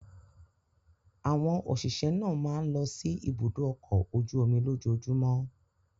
Àwọn òṣìṣẹ́ náà máa ń lọ sí Ibùdó-ọkọ̀ ojú-omi lójoojúmọ́.